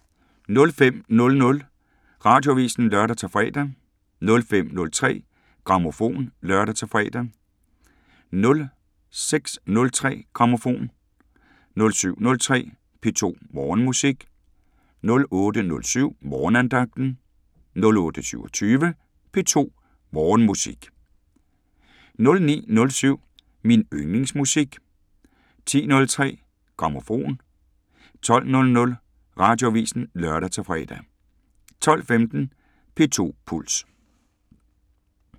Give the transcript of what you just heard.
05:00: Radioavisen (lør-fre) 05:03: Grammofon (lør-fre) 06:03: Grammofon 07:03: P2 Morgenmusik 08:07: Morgenandagten 08:27: P2 Morgenmusik 09:07: Min yndlingsmusik 10:03: Grammofon 12:00: Radioavisen (lør-fre) 12:15: P2 Puls